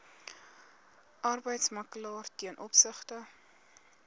arbeidsmakelaar ten opsigte